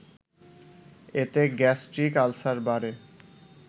এতে gastric ulcer বাড়ে